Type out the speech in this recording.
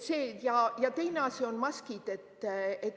Ja teine asi on maskid.